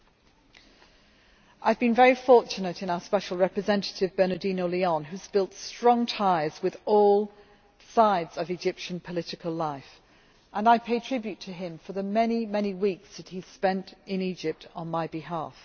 I have been very fortunate in our Special Representative, Bernardino Leon, who has built strong ties with all sides of Egyptian political life, and I pay tribute to him for the very many weeks that he has spent in Egypt on my behalf.